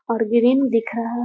और ग्रीन दिख रहा --